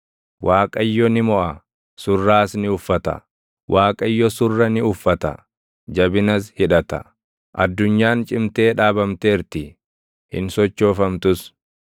Waaqayyo ni moʼa; surraas ni uffata; Waaqayyo surra ni uffata; jabinas hidhata. Addunyaan cimtee dhaabamteerti; hin sochoofamtus.